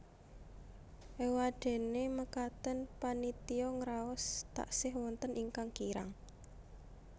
Éwadéné mekaten panitia ngraos taksih wonten ingkang kirang